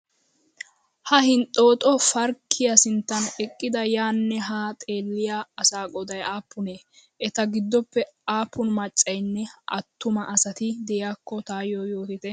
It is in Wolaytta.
Ha hinxooxxo parkkiya sinttan eqqidi yaanne haa xeelliya asaa qooday aappunee? Eta giddoppe aappun maccayinne attuma asati diyakko tayyo yootite?